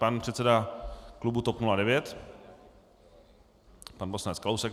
Pan předseda klubu TOP 09, pan poslanec Kalousek.